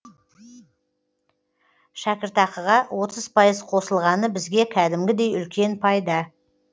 шәкіртақыға отыз пайыз қосылғаны бізге кәдімгідей үлкен пайда